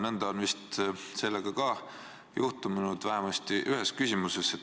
Nõnda on vist ka siin juhtunud, vähemasti ühes küsimuses.